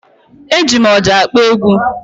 E ji m ọjà akpọ egwu